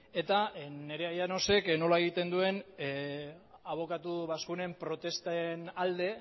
eta nerea llanosek nola egiten duen abokatu bazkunen protesten alde